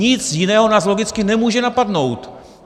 Nic jiného nás logicky nemůže napadnout.